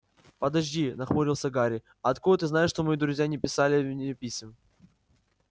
подожди нахмурился гарри а откуда ты знаешь что мои друзья не писали мне писем